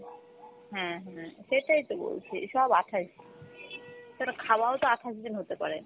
হ্যাঁ হাঁ, সেটাই তো বলছি সব আঠাশ, তালে খাওয়াও তো আঠাশ দিন হতে পারে।